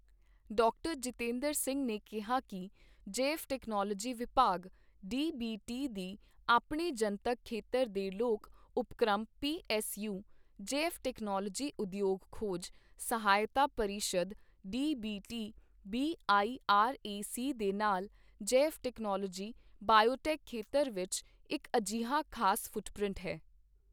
ਡਾ. ਜਤਿੰਦਰ ਸਿੰਘ ਨੇ ਕਿਹਾ ਕੀ ਜੈਵ ਟੈਕਨੋਲਵੋਜੀ ਵਿਭਾਗ ਡੀਬੀਟੀ ਦੀ ਆਪਣੇ ਜਨਤਕ ਖੇਤਰ ਦੇ ਲੋਕ ਉਪਕ੍ਰਮ ਪੀਐੱਸਯੂ, ਜੈਵ ਟੈਕਨੋਲਜੀ ਉਦਯੋਗ ਖੋਜ ਸਹਾਇਤਾ ਪਰਿਸ਼ਦ ਡੀਬੀਟੀ ਬੀਆਈਆਰਏਸੀ ਦੇ ਨਾਲ ਜੈਵ ਟੈਕਨੋਲਵੋਜੀ ਬਾਇਓਟੈਕ ਖੇਤਰ ਵਿੱਚ ਇੱਕ ਅਜਿਹਾ ਖ਼ਾਸ ਫੁਟਪ੍ਰਿੰਟ ਹੈ